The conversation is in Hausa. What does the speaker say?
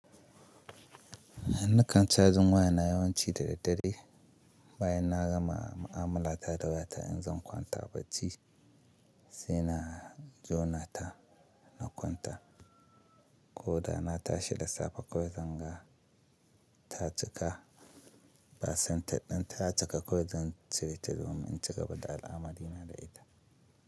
Hanna kan cajin waya na yawanci da daddare bayan na gama ma'amala ta da waya ta in zan kwanta bacci sai na jona ta na kwanta. Ko da na tashi da safe kawai zan ga ta cika. Percentage ɗin ta cika kawai zan cire ta domin in ci gaba da al'amari na da ita.